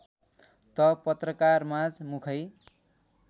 त पत्रकारमाझ मुखै